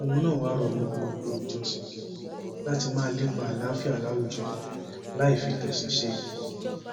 òun náà wàá rọ gbogbo olùjọsìn láti máa lépa àlàáfíà láwùjọ láì fi ti ẹsìn ṣe